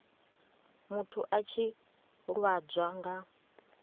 muthu a tshi lwadzwa nga